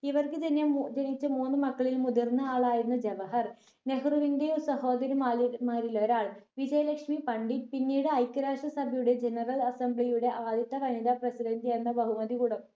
ഇവർക്ക് ജനിയ മു ജനിച്ച മൂന്ന് മക്കളിൽ മുതിർന്ന ആളായിരുന്നു ജവഹർ. നെഹ്‌റുവിന്റെ സഹോദരിമാരിൽ മാരിലൊരാൾ വിജയലക്ഷ്മി പണ്ഡിറ്റ് പിന്നീട് ഐക്യ രാഷ്ട്ര സഭയുടെ general assembly യുടെ ആദ്യത്തെ വനിതാ president എന്ന ബഹുമതി കുട